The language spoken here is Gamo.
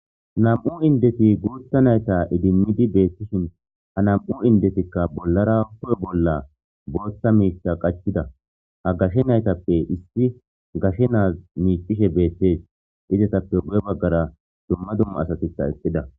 Nam'u indeti guutha nayta idimmidi beettishin ha nam'u indetikka bollara hu'e bolla booththa miita qachida ha gashshe naytappe issi gashe naaz miicishe beethtees idetappe gu'e baggara dumma dumma asatitha exxida.